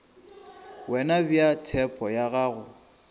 wena bea tshepo ya gago